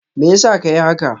Meyasa ka yi haka?